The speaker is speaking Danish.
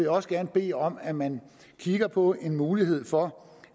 også gerne bede om at man kigger på en mulighed for